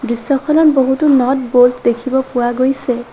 দৃশ্যখনত বহুতো nut bolt দেখিব পোৱা গৈছে।